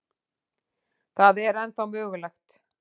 Það er ennþá mögulegt.